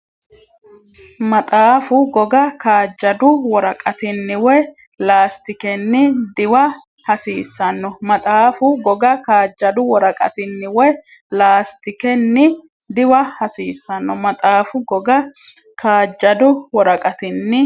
Maxaafu goga kaajjadu woraqatinni woy laastikenni diwa hasiissanno Maxaafu goga kaajjadu woraqatinni woy laastikenni diwa hasiissanno Maxaafu goga kaajjadu woraqatinni.